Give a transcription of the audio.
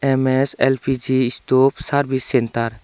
M_S L_P_G stove service centre.